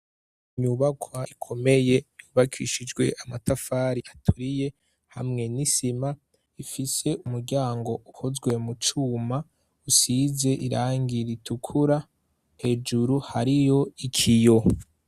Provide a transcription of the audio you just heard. Imyubakwa ikomeye yubakishijwe amatafari aturiye hamwe n'isima ifise umuryango uhozwe mu cuma usize irangira itukura hejuru hari yo iki yo.